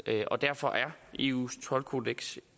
og derfor er eus toldkodeks